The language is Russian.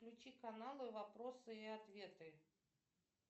включи каналы вопросы и ответы